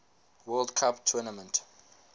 world cup tournament